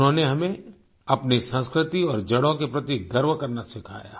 उन्होंने हमें अपनी संस्कृति और जड़ों के प्रति गर्व करना सिखाया